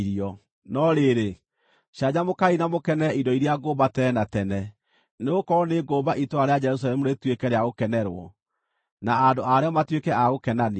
No rĩrĩ, canjamũkai na mũkenere indo iria ngũmba tene na tene, nĩgũkorwo nĩngũmba itũũra rĩa Jerusalemu rĩtuĩke rĩa gũkenerwo, na andũ a rĩo matuĩke a gũkenania.